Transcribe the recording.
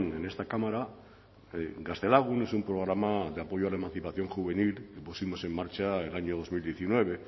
en esta cámara gaztelagun es un programa de apoyo a la emancipación juvenil que pusimos en marcha el año dos mil diecinueve